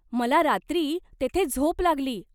मला रात्री तेथे झोप लागली.